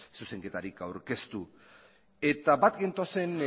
zuzenketarik aurkeztu eta bat gentozen